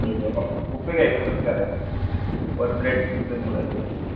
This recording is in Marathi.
buffet घ्यायचा कसा करायचा per plate